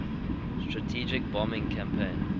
strategic bombing campaign